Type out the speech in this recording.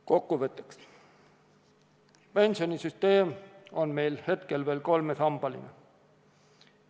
Kokkuvõtteks, pensionisüsteem on meil hetkel veel kolmesambaline.